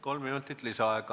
Kolm minutit lisaaega.